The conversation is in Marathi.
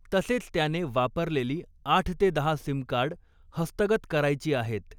तसेच त्याने वापरलेली आठ ते दहा सिमकार्ड हस्तगत करायची आहेत.